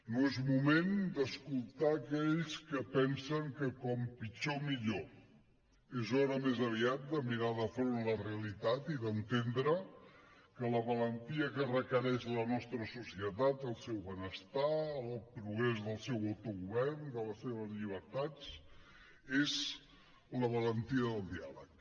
no és moment d’escoltar aquells que pensen que com pitjor millor és hora més aviat de mirar de front la realitat i d’entendre que la valentia que requereix la nostra societat el seu benestar el progrés del seu autogovern de les seves llibertats és la valentia del diàleg